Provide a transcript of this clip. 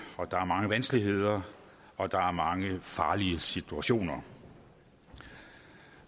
og der er mange vanskeligheder og der er mange farlige situationer